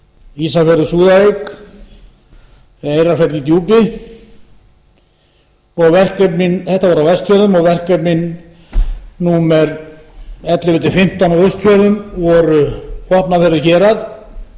ísafjörður súðavík eyrarfjall í djúpi þetta var á vestfjörðum verkefnin númer ellefu til fimmtán á austfjörðum voru vopnafjörður hérað